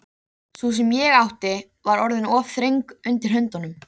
Sú sem ég átti var orðin of þröng undir höndunum.